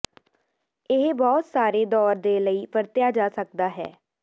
ਇਹ ਬਹੁਤ ਸਾਰੇ ਦੌਰ ਦੇ ਲਈ ਵਰਤਿਆ ਜਾ ਸਕਦਾ ਹੈ